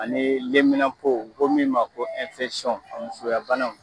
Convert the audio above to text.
A ni lenminapo ko min ma ko musoya banaw.